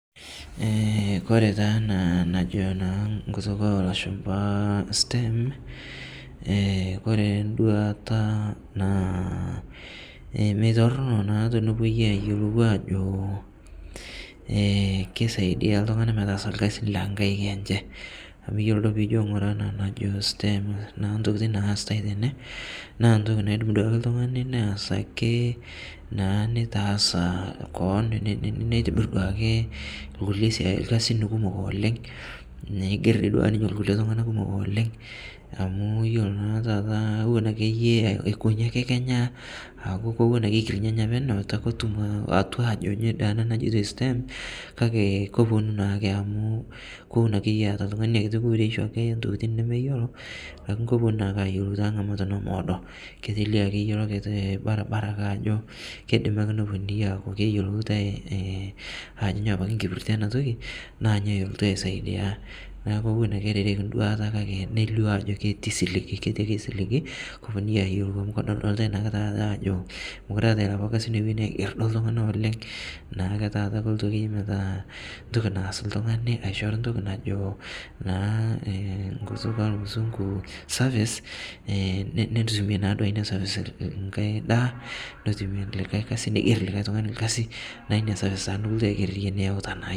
Kore taa ana najo naa nkutuk elashumpa stem, ekoree nduata naa meitorno naa tonopuoi ayelou ajo ekeisaidia ltung'ana metaasa lkazin lenkaik enshe amu iyolo duo pijo ng'ura ana najo stem naa ntokitin naasitai tenee naa ntoki naidoim duake ltung'ani naas ake naa neitaasa koon neitibir duake lkulie sia kazin kumok oleng' neiger dei duake ninye lkulie tung'ana kumok oleng' amu iyolo naa taata iwon akeyie aikonyi ake Kenya kowon ake eikirnyanya peneu etu ake etum atua ajo nyo ana najoitoi stem kakee koponuu naake amu kowon akeye eata ltung'ani inia kuuresho entokitin nemeyeloo lakini koponu naake ayelou tang'amat nomoodo ketelie akeye ilokitii barbara ake ajo keidimi ake noponunui aaku keyeloutai ajo ny apake nkipirte yana toki naa nyo eltu aisaidia naaku kowon ake erereki nduata neilio ajo keti siligii eketi ake siligi koponunui ayelou amu kodoldolitai taata ajo mokuree eatai lapa kazin loweni aiger duo ltung'ana oleng' naakeye taata koltu akeye metaa ntoki naas ltung'ani eishoru ntoki najo naa nkutuk elmusung'u service netumi naaduo inia service ng'ai daa netumie likai kazi neiger likai tung'ani lkazi naaku inia service taa nikiltu aiger niyauta naa yie.